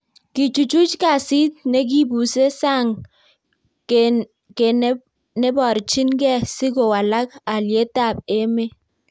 Kechuchuch kasit nekibuse sang ko neparchin gee si kowalak aliet AP emet.